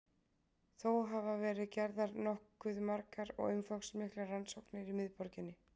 þó hafa verið gerðar nokkuð margar og umfangsmiklar rannsóknir í miðborginni